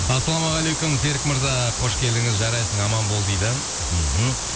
ассалаумағалейкум серік мырза қош келдіңіз жарайсың аман бол дейді мхм